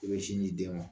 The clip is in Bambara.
I bɛ sin di den ma